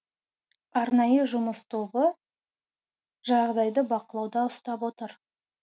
арнайы жұмыс тобы жағдайды бақылауда ұстап отыр